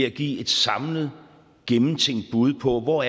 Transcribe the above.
at give et samlet gennemtænkt bud på hvor